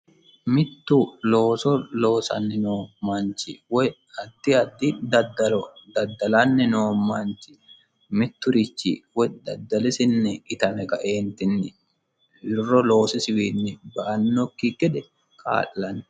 mittu looso loosanni noo manchi woy addi addi daddalo daddalanni noo manchi mitturichi woy daddalisinni itame loosisiwiinni ba'annokki gede kaa'lanno.